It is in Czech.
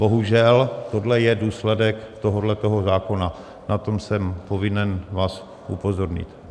Bohužel, tohle je důsledek tohoto zákona, na to jsem povinen vás upozornit.